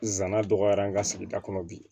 Nsana dɔgɔyara an ka sigida kɔnɔ bi